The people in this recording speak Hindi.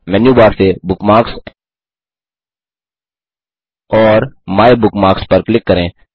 मेन्यूबार से बुकमार्क्स और माइबुकमार्क्स पर क्लिक करें